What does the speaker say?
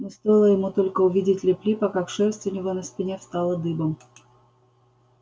но стоило ему только увидеть лип липа как шерсть у него на спине встала дыбом